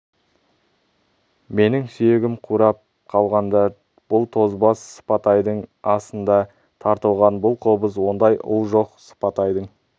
менің сүйегім қурап қалғанда да бұл тозбас сыпатайдың асында тартылған бұл қобыз ондай ұл жоқ сыпатайдың